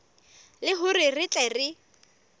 le hore re tle re